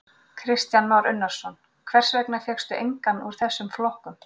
Kristján Már Unnarsson: Hvers vegna fékkstu engan úr þessum flokkum?